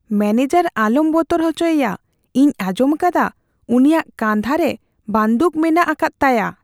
Manager ᱟᱞᱚᱢ ᱵᱚᱛᱚᱨ ᱚᱪᱚᱭᱮᱭᱟ ᱾ ᱤᱧ ᱟᱸᱡᱚᱢᱟᱠᱟᱫᱟ ᱩᱱᱤᱭᱟᱜ ᱠᱟᱸᱫᱷᱟᱨᱮ ᱵᱟᱹᱫᱩᱠ ᱢᱮᱱᱟᱜ ᱟᱠᱟᱫ ᱛᱟᱭᱟ ᱾